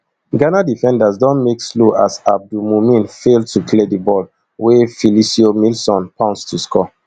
ghana defenders don make slow as abdul mumin fail to clear di ball wey filicio milson pounce to score